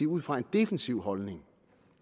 ud fra en defensiv holdning